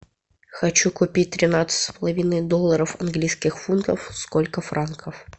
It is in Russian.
хочу купить тринадцать с половиной долларов английских фунтов сколько франков